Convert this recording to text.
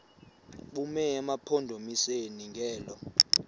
bume emampondomiseni ngelo